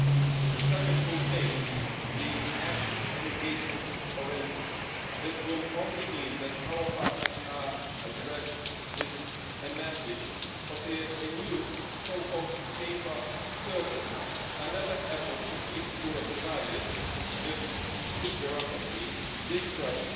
If the summit fails, despite being action and engagement oriented, this will only mean that our partners are addressed with a message of a new, so called paper curtain' another effort to keep Europe divided with a huge bureaucracy, distrust,